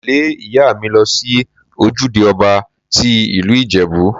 Mo tẹ́lẹ̀ ìyá mi lọ sí ojúde ọba tí ìlú Ìjẹ̀bú.